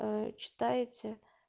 читаете